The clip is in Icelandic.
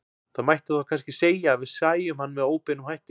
Það mætti þá kannski segja að við sæjum hann með óbeinum hætti.